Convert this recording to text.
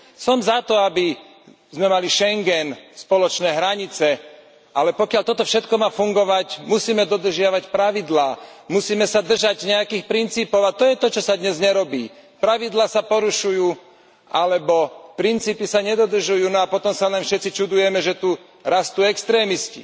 Som za to, aby sme mali Schengen, spoločné hranice, ale pokiaľ toto všetko má fungovať, musíme dodržiavať pravidlá, musíme sa držať nejakých princípov, a to je to, čo sa dnes nerobí pravidlá sa porušujú alebo princípy sa nedodržujú, no a potom sa len všetci čudujeme, že tu rastú extrémisti.